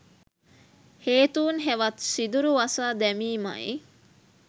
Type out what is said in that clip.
හේතූන් හෙවත් සිදුරු වසා දැමීමයි.